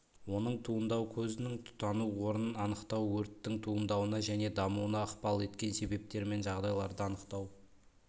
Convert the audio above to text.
оның туындау көзінің тұтану орнын анықтау өрттің туындауына және дамуына ықпал еткен себептер мен жағдайларды анықтау